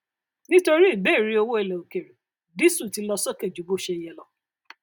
nítorí ìbéèrè owó ilẹ òkèèrè dísù ti lọ sókè ju bó ṣe yẹ lọ